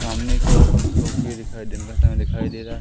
सामने की ओर धूप भी दिखाई दिन का समय दिखाई दे रहा है।